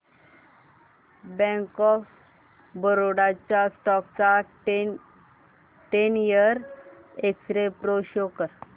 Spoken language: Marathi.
बँक ऑफ बरोडा च्या स्टॉक चा ten year x ray pro show कर